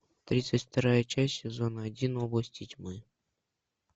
тридцать вторая часть сезона один области тьмы